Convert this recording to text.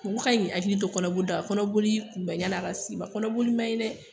Mɔgɔ ka ɲi k'i hakili to kɔnɔboli la kɔnɔboli kun bɛ yani a ka se i ma. Kɔnɔboli man ɲi dɛ.